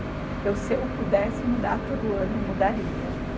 Eu se eu pudesse mudar todo ano, eu mudaria.